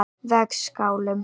Vegskálum